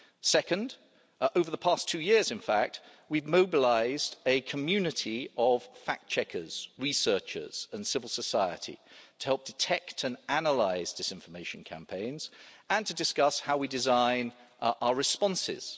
Second, over the past two years in fact, we have mobilised a community of fact checkers, researchers and civil society, to help detect and analyse disinformation campaigns and to discuss how we design our responses.